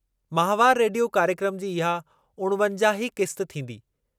माहवार रेडियो कार्यक्रमु जी इहा उणिवंजाहीं क़िस्त थींदी।